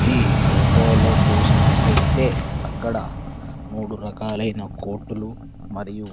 ఈ ఫోటోలో చూసినట్లయితే అక్కడ మూడు రకాలైన కోటులు మరియు--